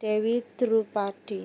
Dèwi Drupadi